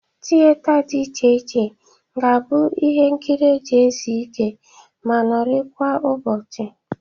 Tiyeta dị iche iche ga-abụ ihe nkịrị e ji ezu ike ma nọrịkwa ụbọchị